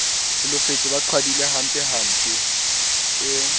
holofetse ba qhwadile hampempe e